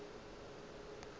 fela le ge go le